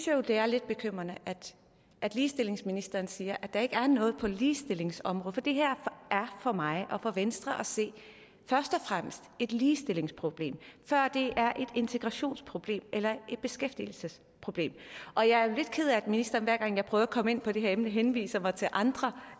jo det er lidt bekymrende at ligestillingsministeren siger at der ikke er noget på ligestillingsområdet for det her er for mig og for venstre først og fremmest et ligestillingsproblem før det er et integrationsproblem eller et beskæftigelsesproblem og jeg er lidt ked af at ministeren hver gang jeg prøver at komme ind på det her emne henviser mig til andre